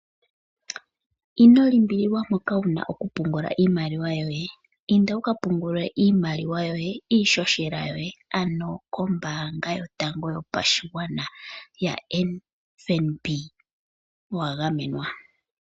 Ino limbililwa mpoka wu na okupungula iimaliwa yoye, inda wu ka pungule iimaliwa yoye iishoshela yoye ano kombaanga yotango yopashigwana yo FNB .Owa gamenwa .